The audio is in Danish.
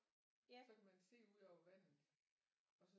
Så kan man se ud over vandet og så